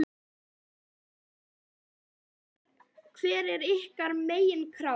Heimir Már Pétursson: Hver er ykkar meginkrafa?